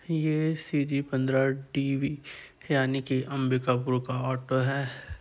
यह C G पन्द्रा TV है यानि की अंबिकापुर का ऑटो है।